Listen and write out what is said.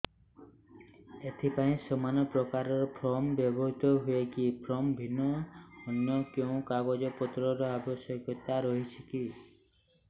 ଏଥିପାଇଁ ସମାନପ୍ରକାର ଫର୍ମ ବ୍ୟବହୃତ ହୂଏକି ଫର୍ମ ଭିନ୍ନ ଅନ୍ୟ କେଉଁ କାଗଜପତ୍ରର ଆବଶ୍ୟକତା ରହିଛିକି